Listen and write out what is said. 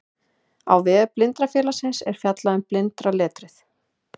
á vef blindrafélagsins er fjallað um blindraletrið